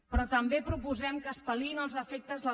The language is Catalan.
però també proposem que es pal·liïn els efectes del